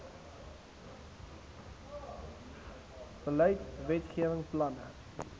beleid wetgewing planne